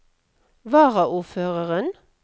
varaordføreren